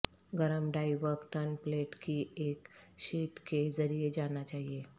گرم ڈائی ورق tin plate کی ایک شیٹ کے ذریعے جانا چاہئے